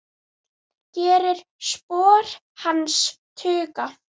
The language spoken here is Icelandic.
Gerir spor hans þung.